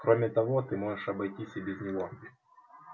кроме того ты можешь обойтись и без него